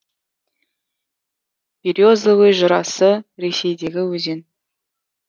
березовый жырасы ресейдегі өзен